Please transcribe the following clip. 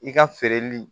I ka feereli